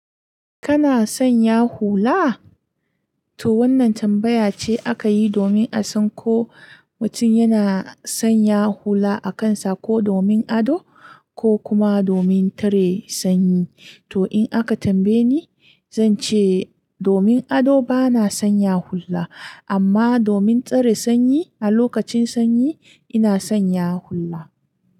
Kana sanya hula? To wannan tambaya ce aka yi domin a san ko mutum yana sanya hula a kansa ko domin ado ko kuma domin tare sanyi. To in aka tambaye ni, zan ce domin ado bana sanya hula, amma domin tsare sanyi a lokacin sanyi ina sanya hula.